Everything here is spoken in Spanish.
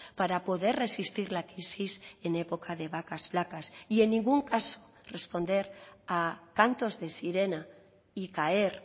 para poder resistir la crisis en época de vacas flacas y en ningún caso responder a cantos de sirena y caer